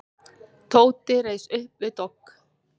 Tóti reis upp við dogg.